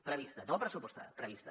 prevista no pressupostada prevista